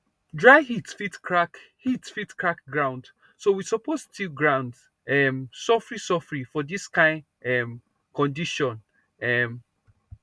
dry heat fit crack heat fit crack ground so we suppose till ground um sofri sofri for dis kain um condition um